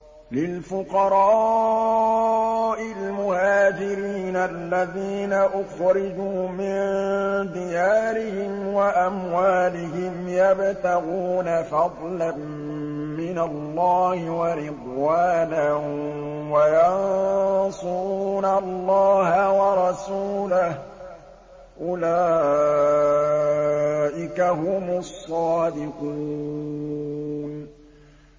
لِلْفُقَرَاءِ الْمُهَاجِرِينَ الَّذِينَ أُخْرِجُوا مِن دِيَارِهِمْ وَأَمْوَالِهِمْ يَبْتَغُونَ فَضْلًا مِّنَ اللَّهِ وَرِضْوَانًا وَيَنصُرُونَ اللَّهَ وَرَسُولَهُ ۚ أُولَٰئِكَ هُمُ الصَّادِقُونَ